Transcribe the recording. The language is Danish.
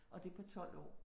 Og det på 12 år